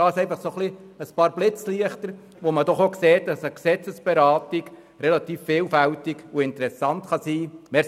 dies sind nur einige Stichworte aus den Diskussionen, welche zeigen, dass eine Gesetzesberatung relativ vielfältig und interessant sein kann.